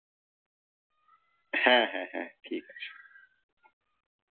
হ্যাঁ হ্যাঁ হ্যাঁ ঠিকাছে।